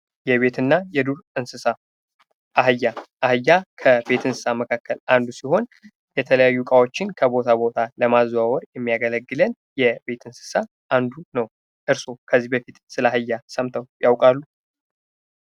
የቤትና የዱር እንስሳት አህያ አህያ ከቤት እንስሳ መካከል አንዱ ሲሆን የተለያዩ እቃዎችን ከቦታ ቦታ ለማዘዋወር የሚያገለግልን የቤት እንስሳ አንዱ ነው። እርስዎ ከዚህ በፊት ስለ አህያ ሰምተው ያውቃሉ?